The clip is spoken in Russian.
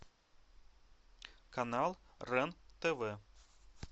канал рен тв